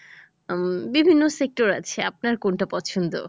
উম বিভিন্ন sector আছে আপনার কোনটা পছন্দ?